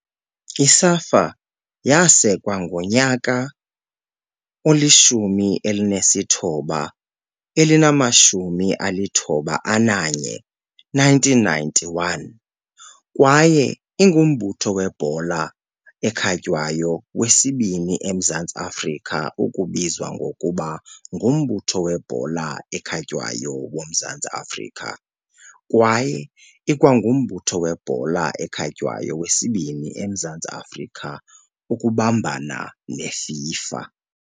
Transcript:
I-SAFA yasekwa ngo-1991 kwaye ingumbutho webhola ekhatywayo wesibini eMzantsi Afrika ukubizwa ngokuba nguMbutho "weBhola eKhatywayo woMzantsi Afrika" kwaye ikwangumbutho webhola ekhatywayo wesibini eMzantsi Afrika ukubambana neFIFA.